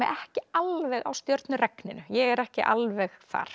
ekki alveg á ég er ekki alveg þar